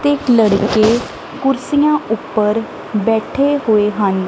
ਤੇ ਲੜਕੇ ਕੁਰਸੀਆਂ ਉੱਪਰ ਬੈਠੇ ਹੋਏ ਹਨ।